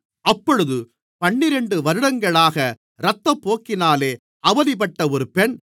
அப்பொழுது பன்னிரண்டு வருடங்களாக இரத்தப்போக்கினாலே அவதிப்பட்ட ஒரு பெண்